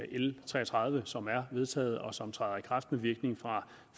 l tre og tredive som er vedtaget og som træder i kraft med virkning fra